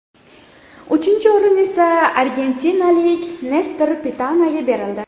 Uchinchi o‘rin esa argentinalik Nestor Pitanaga berildi.